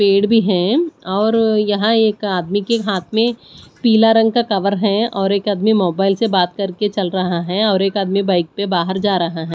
पेड़ भी है और यहां एक आदमी के हाथ में पीला रंग का कवर है और एक आदमी मोबाइल से बात करके चल रहा है और एक आदमी बाइक प बाहर जा रहा है।